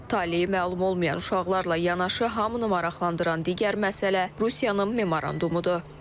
Talehi məlum olmayan uşaqlarla yanaşı hamını maraqlandıran digər məsələ Rusiyanın memorandumudur.